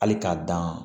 Hali k'a dan